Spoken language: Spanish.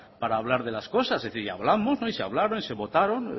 para hablar de las cosas y hablamos y se hablaron y se votaron